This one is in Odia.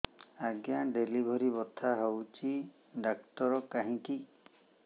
ଆଜ୍ଞା ଡେଲିଭରି ବଥା ହଉଚି ଡାକ୍ତର କାହିଁ କି